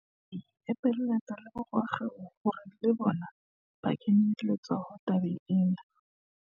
Re ipiletsa le ho borakgwebo hore le bona ba kenye letsoho tabeng ena.